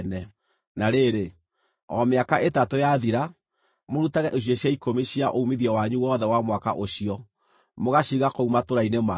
Na rĩrĩ, o mĩaka ĩtatũ yathira, mũrutage icunjĩ cia ikũmi cia uumithio wanyu wothe wa mwaka ũcio, mũgaaciga kũu matũũra-inĩ manyu,